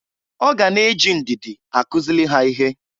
Ọ ga na-eji ndịdị akụzịlị ha ihe.